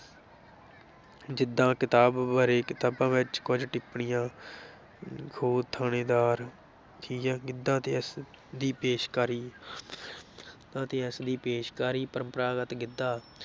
ਜਿੱਦਾਂ ਕਿਤਾਬ ਬਾਰੇ ਕਿਤਾਬਾਂ ਵਿੱਚ ਕੁੱਝ ਟਿੱਪਣੀਆਂ ਉਹ ਥਾਣੇਦਾਰ, ਤੀਆਂ ਗਿੱਧਾ ਤੇ ਇਸ ਦੀ ਪੇਸ਼ਕਾਰੀ ਤੇ ਇਸ ਦੀ ਪੇਸ਼ਕਾਰੀ ਪਰੰਪਰਾਗਤ ਗਿੱਧਾ